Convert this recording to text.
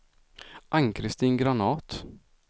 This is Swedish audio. Ann-Christin Granath